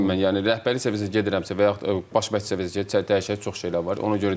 Rəhbərlik səviyyəsinə gedirəmsə və yaxud baş məh səviyyəsinə gedirəm, dəyişək çox şeylər var, ona görə deyirəm.